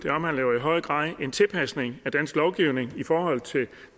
høj grad en tilpasning af dansk lovgivning i forhold til